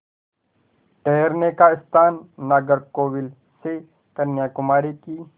ठहरने का स्थान नागरकोविल से कन्याकुमारी की